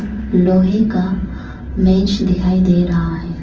लोहे का मेज दिखाई दे रहा है।